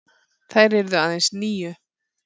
Þær yrðu aðeins níu.